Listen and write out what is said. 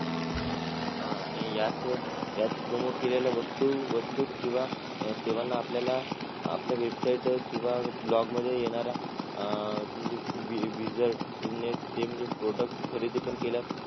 आह आणि याच याच promote केलेल्या वस्तू वस्तू किंवा सेवांना आपल्याला website वर किंवा blog मध्ये येणारा अं ते म्हणजे products खरेदी पण केल्यास